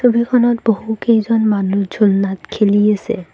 ছবিখনত বহুকেইজন মানুহ ঝুলনাত খেলি আছে।